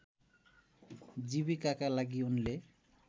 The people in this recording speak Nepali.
जीविकाका लागि उनले